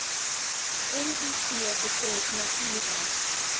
miv betref natuurlik